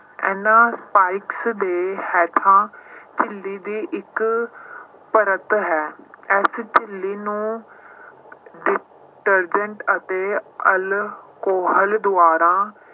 ਇਹਨਾਂ spikes ਦੇ ਹੇਠਾਂ ਝਿੱਲੀ ਦੀ ਇੱਕ ਪਰਤ ਹੈ ਇਸ ਝਿੱਲੀ ਨੂੰ ਅਤੇ alcohol ਦੁਆਰਾ